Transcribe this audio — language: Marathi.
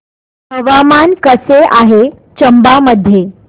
हवामान कसे आहे चंबा मध्ये